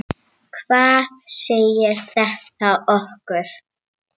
Hvað segir þetta okkur?